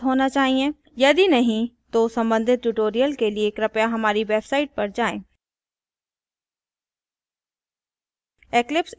यदि नहीं तो संबंधित tutorial के लिए कृपया हमारी website पर जाएँ